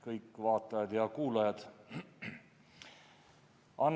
Kõik vaatajad ja kuulajad!